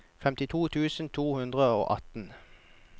femtito tusen to hundre og atten